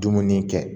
Dumuni kɛ